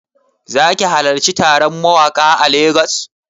Zaki halarci taron mawaƙa a Lagos?